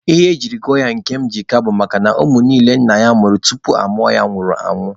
Ihe ejiri gụọ ya Nkemjika bụ makana ụmụ niile nne ya mụrụ tupu a mụọ ya nwụrụ anwụ.